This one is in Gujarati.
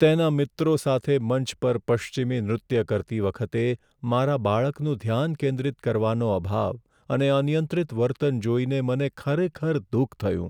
તેના મિત્રો સાથે મંચ પર પશ્ચિમી નૃત્ય કરતી વખતે મારા બાળકનું ધ્યાન કેન્દ્રિત કરવાનો અભાવ અને અનિયંત્રિત વર્તન જોઈને મને ખરેખર દુઃખ થયું.